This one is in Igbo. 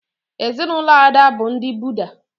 Ezinụlọ Ada bụ ndị Buda